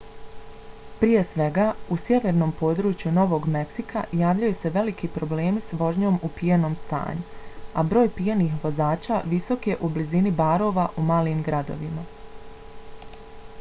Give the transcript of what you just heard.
prije svega u sjevernom području novog meksika javljaju se veliki problemi s vožnjom u pijanom stanju a broj pijanih vozača visok je u blizini barova u malim gradovima